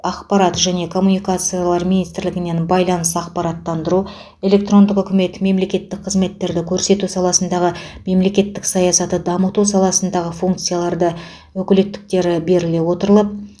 ақпарат және коммуникациялар министрлігінен байланыс ақпараттандыру электрондық үкімет мемлекеттік қызметтерді көрсету саласындағы мемлекеттік саясатты дамыту саласындағы функцияларды өкілеттіктері беріле отырып